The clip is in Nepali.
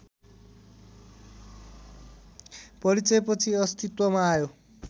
परिचयपछि अस्तित्वमा आयो